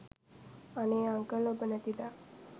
අනේ අංකල් ඔබ නැති දා